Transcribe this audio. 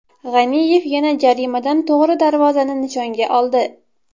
G‘aniyev yana jarimadan to‘g‘ri darvozani nishonga oldi.